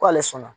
K'ale sɔnna